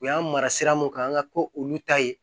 U y'an mara sira mun kan an ka ko olu ta ye